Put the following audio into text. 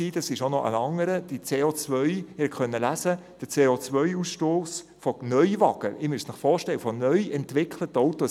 Der CO-Ausstoss von Neuwagen, also von neu entwickelten Autos, ist mittlerweile wieder am Steigen, und zwar seit vergangenem Jahr.